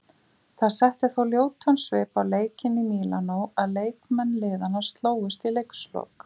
Það setti þó ljótan svip á leikinn í Mílanó að leikmenn liðanna slógust í leikslok.